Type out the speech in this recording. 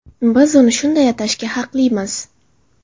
Biz uni shunday atashga haqlimiz!